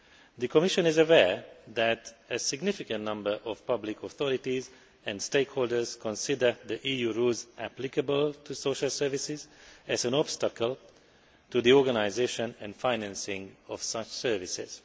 The Commission is aware that a significant number of public authorities and stakeholders consider the EU rules applicable to social services as an obstacle to the organisation and financing of such services.